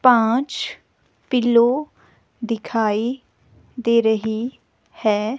पांच पिलो दिखाई दे रही है.